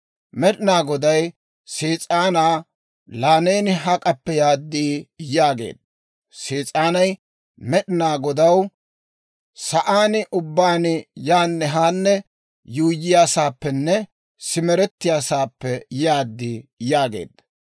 Med'inaa Goday Sees'aanaa, «Laa neeni hak'appe yaad?» yaageedda. Sees'aanay Med'inaa Godaw, «Sa'aan ubbaan yaanne haanne yuuyyiyaasaappenne simerettiyaasaappe yaad» yaageedda.